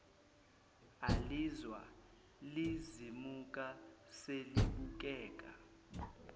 alizwa lizimuka selibukeka